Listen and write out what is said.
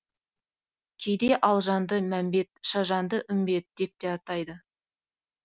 кейде алжанды мәмбет шажаны үмбет деп те атайды